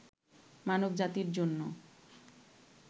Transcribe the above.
মানব জাতির জন্য